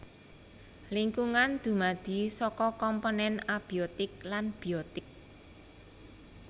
Lingkungan dumadi saka komponèn abiotik lan biotik